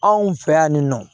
Anw fɛ yan nin nɔ